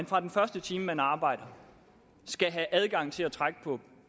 fra den første time man arbejder skal have adgang til at trække på